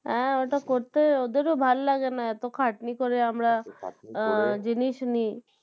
হ্যাঁ ওটা করতে ওদেরও ভালো লাগে না এতো খাটনি করে আমরা আহ জিনিস নি